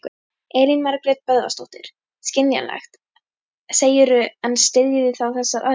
Elín Margrét Böðvarsdóttir: Skiljanlegt, segirðu en styðjið þið þessar aðgerðir?